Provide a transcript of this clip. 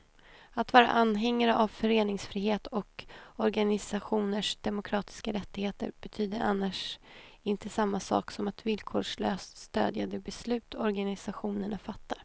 Att vara anhängare av föreningsfrihet och organisationers demokratiska rättigheter betyder annars inte samma sak som att villkorslöst stödja de beslut organisationerna fattar.